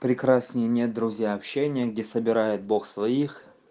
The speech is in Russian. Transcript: прекрасней нет друзья общения где собирает бог своих